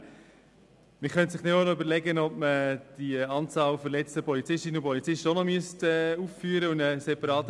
Man könnte sich überlegen, ob ebenfalls die Anzahl verletzter Polizisten und Polizistinnen aufgeführt werden müsste.